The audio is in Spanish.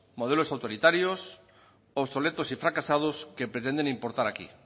modelos autoritarios obsoletos y fracasados que pretenden importar aquí